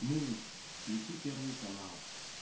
муикс включи первый канал